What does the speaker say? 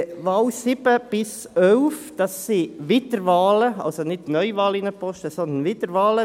Die Wahlen 7 bis 11 sind Wiederwahlen, also nicht Neuwahlen in einen Posten, sondern Wiederwahlen.